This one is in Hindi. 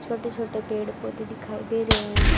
छोटे छोटे पेड़ पौधे दिखाई दे रहे हैं।